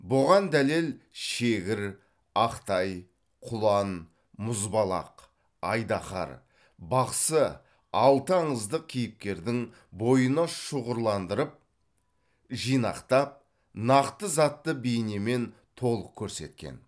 бұған дәлел шегір ақтай құлан мұзбалақ айдахар бақсы алты аңыздық кейіпкердің бойына шұғырландырып жинақтап нақты затты бейнемен толық көрсеткен